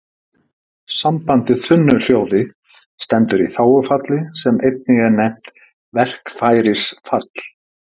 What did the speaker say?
Sambandið þunnu hljóði stendur í þágufalli sem einnig er nefnt verkfærisfall.